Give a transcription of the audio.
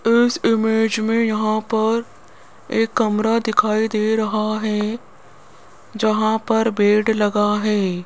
इस इमेज़ में यहां पर एक कमरा दिखाई दे रहा है जहां पर बेड लगा है।